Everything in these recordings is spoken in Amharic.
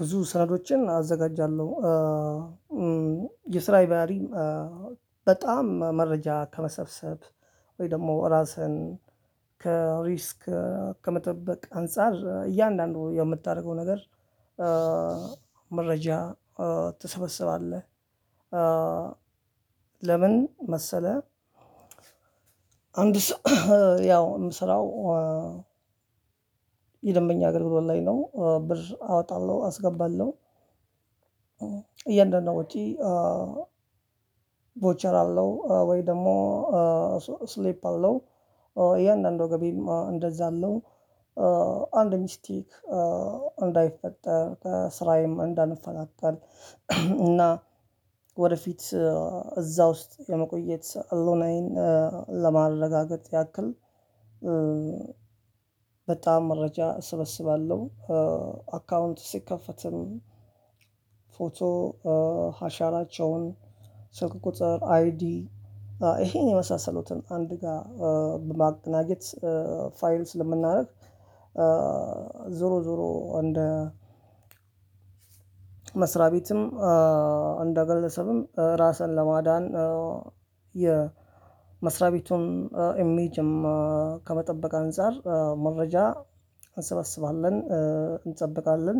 ብዙ ሳህኖችን አዘጋጃለው። ይሳዬ ባህሪም በጣም መረጃ ከመሰብሰብ ወይ ደግሞ እራስን ከሪስክ ከመጠበቅ አንፃር እያንዳንዱ የምታረገው ነገር። መረጃ ትሰበስባለህ። ልምን መሰለህ? አንድ ሰው ያው ስራው። የደንበኛ አገልግሎት ላይ ነው ብር አወጣለሁ አስገባለሁ። እያንዳንዷ ውጪ ቮቸር አለው ወይ ደግሞ ስሊፕ አለው። እያንዳንዱ ገቢም እንደዛ አለው። አንድ ሚስቴክ እንዳይፈጠር ከስራዬም እንዳልፈናቀል እና ወደፊት እዛ ውስጥ የመቆየት አሎናዬን ለማረጋገጥ ያክል። በጣም መረጃ እሰበስባለሁ። አካውንት ሲከፈትም ፎቶ ሀሻራቸውን ስልክ ቁጥር አይዲ ይሄን የመሳሰሉትን አንደኛ በማቀናጀት ፋይል ስለምናደርግ። ዞሮ ዞሮ እንደ መስሪያ ቤትም እንደ ግለሰብም ራስን ለማዳን የመስሪያ ቤቱን ኢሜጅም ከመጠበቅ አንፃር መረጃ እንሰባስባለን እንጠብቃለን።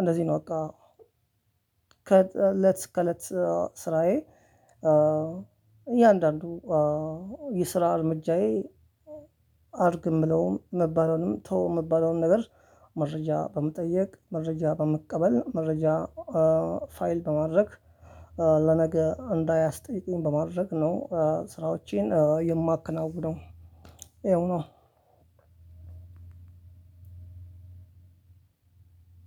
እንደዚህ ነው። በቃ ከለት አስከ እለት ስራዬ። እያንዳንዱ የስራ እርምጃዬ አርግ የምለውም ምባለውንም ተው የምባለውን ነገር መረጃ በመጠየቅ መረጃ በመቀበል መረጃ ፋይል በማድረግ ለነገ እንዳያስጠይቀኝ በማድረግ ነው። ስራዎቼን የማከናውነው ይኸው ነው።